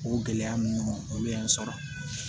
O gɛlɛya ninnu olu ye n sɔrɔ